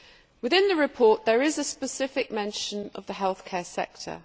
Within the report there is a specific mention of the healthcare sector.